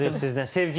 Tam razıyıq sizdən.